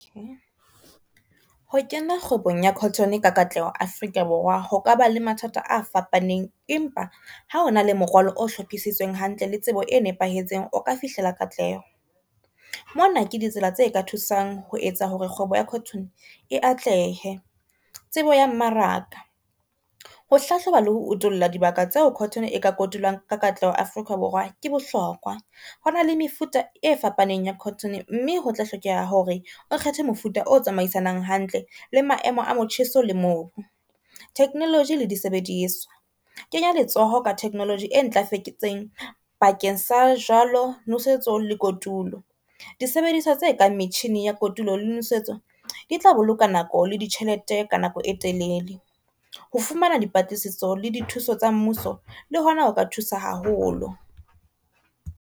Ho kena kgwebong ya cotton ka katleho Afrika Borwa ho ka ba le mathata a fapaneng, empa ha hona le morwalo o hlophisitsweng hantle le tsebo e nepahetseng o ka fihlela katleho. Mona ke ditsela tse ka thusang ho etsa hore kgwebo ya cotton e atlehe. Tsebo ya mmaraka, ho hlahloba le ho utulla dibaka tseo cotton e ka kotulwang ka katleho Afrika Borwa ke bohlokwa. Ho na le mefuta e fapaneng ya cotton, mme hotla hlokeha hore o kgethe mofuta o tsamaisanang hantle le maemo a motjheso le mobu. Technology le disebediswa, kenya letsoho ka technology e ntlafetseng bakeng sa jwalo. Nosetso le kotulo, disebediswa tse kang metjhini ya kotulo le nosetso di tla boloka nako le ditjhelete ka nako e telele ho fumana dipatlisiso le dithuso tsa mmuso le hona ho ka thusa haholo.